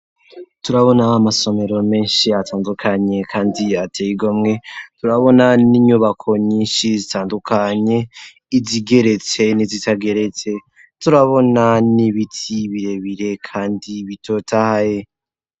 Turabona amasomero, menshi atandukanye, kandi ateye igomwe; turabona n'inyubako, nyinshi zitandukanye; izigeretse, n'izitageretse turabona n'ibiti, birebire, kandi bitotahaye.